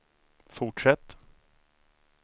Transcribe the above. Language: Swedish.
fortsätt